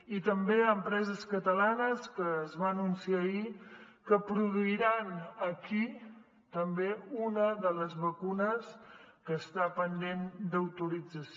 i també hi ha empreses catalanes que es va anunciar ahir que produiran aquí també una de les vacunes que està pendent d’autorització